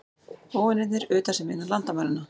Óvinirnir utan sem innan landamæranna.